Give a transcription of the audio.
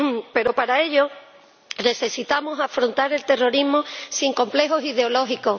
Pero, para ello, necesitamos afrontar el terrorismo sin complejos ideológicos.